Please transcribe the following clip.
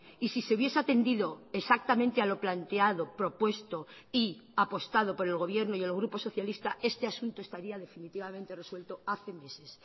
y si se hubiese atendido exactamente a lo planteado propuesto y apostado por el gobierno y el grupo socialista este asunto estaría definitivamente resuelto hace meses